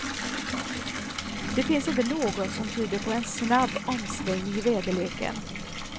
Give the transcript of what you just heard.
Det finns inte något som tyder på en snabb omsvängning i väderleken.